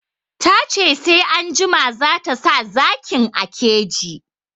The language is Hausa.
Ta ce sai anjima zata sa zakin a keji